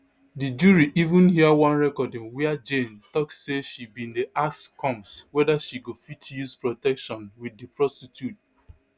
di jury even hear one recording wia jane tok say she bin dey ask combs weda she go fit use protection wit di prostitute